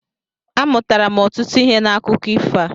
Amụtara m ọtụtụ ihe n'akụko ifo a.